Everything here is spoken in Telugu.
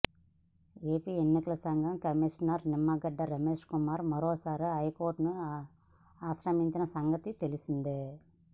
ఏపీ ఎన్నికల సంఘం కమీషనర్ నిమ్మగడ్డ రమేశ్ కుమార్ మరోసారి హైకోర్టును ఆశ్రయించిన సంగతి తెలిసిందే